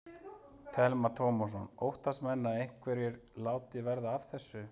Telma Tómasson: Óttast menn að einhverjir láti verða af þessu?